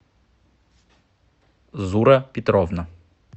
зура петровна